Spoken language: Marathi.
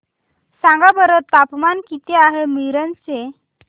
सांगा बरं तापमान किती आहे मिरज चे